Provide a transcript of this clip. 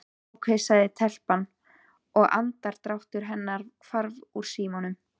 Ókei sagði telpan og andardráttur hennar hvarf úr símanum.